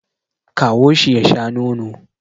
Kawo shi ya sha nono